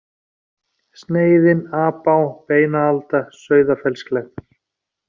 Sneiðin, Apá, Beinaalda, Sauðafellsklettar